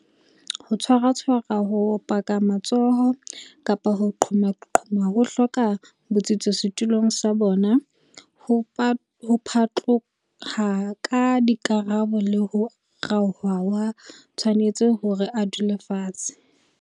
ho tshwaratshwara ho opaka matsoho kapa ho qhomaqhoma ho hloka botsitso setulong sa bona ho phatloha ka dikarabo le ho raoha ha a tshwanetse hore a dule fatshe.